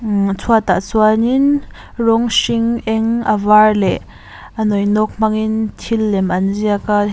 ihh chhuat ah chuan in rawng hring eng a var leh a nawi nawk hmangin thil lem an ziak a.